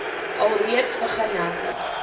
alreeds begin hekke